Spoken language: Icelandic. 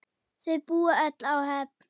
Þau búa öll á Höfn.